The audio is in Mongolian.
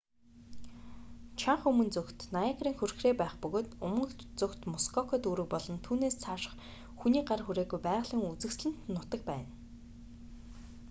чанагш өмнө зүгт ниагарын хүрхрээ байх бөгөөд умард зүгт мускока дүүрэг болон түүнээс цааших хүний гар хүрээгүй байгалийн үзэсгэлэнт нутаг байна